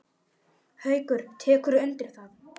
Haukur: Tekurðu undir það?